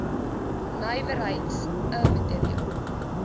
nywerheids i materiaal